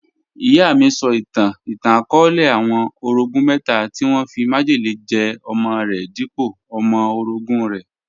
Iyà mí sọ̀ itàn ìtàn-akọọlẹ̀ àwọn orọ̀gún mẹta tí wọn fí májẹlẹ̀ jẹ̀ ọmọ̀ rẹ̀ dípọ̀ ọmọ̀ orọ̀gún rẹ̀.